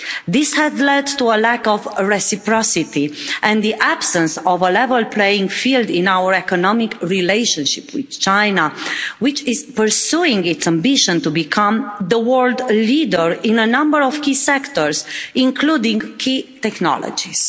This had led to a lack of reciprocity and the absence of a level playing field in our economic relationship with China, which is pursuing its ambition to become the world leader in a number of key sectors, including key technologies.